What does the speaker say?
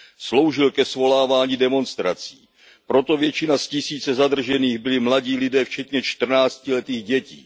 Sloužil ke svolávání demonstrací. Proto většina z tisíce zadržených byli mladí lidé, včetně čtrnáctiletých dětí.